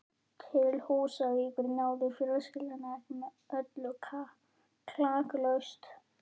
Til Húsavíkur náði fjölskyldan ekki með öllu klakklaust.